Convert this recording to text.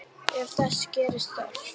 Ef þess gerist þörf